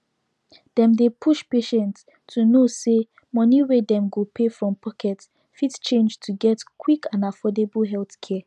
dem dey push patients to know say money wey dem go pay from pocket fit change to get quick and affordable healthcare